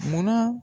Munna